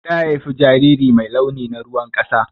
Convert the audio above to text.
Ta haifa jariri mai launi na ruwan ƙasa.